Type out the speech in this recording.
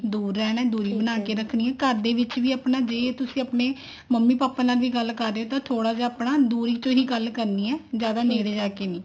ਦੁਰ ਰਹਿਣਾ ਦੂਰੀ ਬਣਾ ਕੇ ਰੱਖਣੀ ਹੈ ਘਰ ਦੇ ਵਿੱਚ ਵੀ ਆਪਣਾ ਜੇ ਤੁਸੀਂ ਆਪਣੇ ਮੰਮੀ ਪਾਪਾ ਨਾਲ ਵੀ ਗੱਲ ਕਰ ਰਹੇ ਹੋ ਤਾਂ ਥੋੜਾ ਜਾ ਆਪਣਾ ਦੂਰੀ ਤੋਂ ਹੀ ਗੱਲ ਕਰਨੀ ਹੈ ਜਿਆਦਾ ਨੇੜੇ ਜਾ ਕੇ ਨੀ